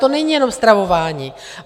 To není jenom stravování.